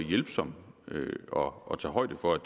hjælpsom og og tage højde for at